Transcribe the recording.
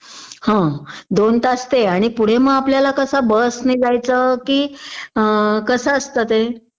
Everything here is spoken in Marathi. हं दोन तास ते आणि पुढे मग आपल्याला कसं बस ने जायचं कि कसं असतं ते